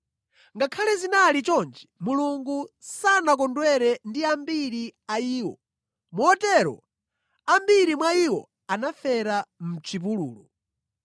Ngakhale zinali choncho, Mulungu sanakondwere ndi ambiri a iwo, motero ambiri mwa iwo anafera mʼchipululu.